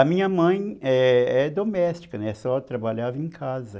A minha mãe é é doméstica, só trabalhava em casa.